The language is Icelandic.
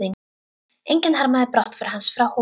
Enginn harmaði brottför hans frá Hólum.